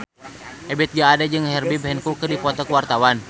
Ebith G. Ade jeung Herbie Hancock keur dipoto ku wartawan